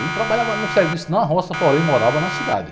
Ele trabalhava num serviço na roça, porém morava na cidade.